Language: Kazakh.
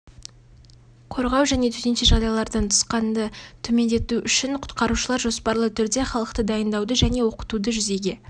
қорғау және төтенше жағдайлардан нұқсанды төмендету үшін құтқарушылар жоспарлы түрде халықты дайындауды және оқытуды жүзеге